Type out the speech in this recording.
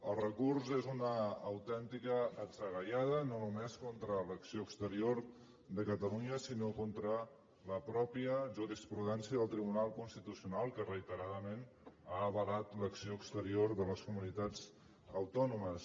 el recurs és una autèntica atzagaiada no només contra l’acció exterior de catalunya sinó contra la pròpia jurisprudència del tribunal constitucional que reiteradament ha avalat l’acció exterior de les comunitats autònomes